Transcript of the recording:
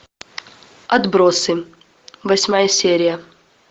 отбросы восьмая серия